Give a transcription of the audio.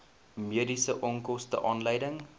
mediese onkoste aanleiding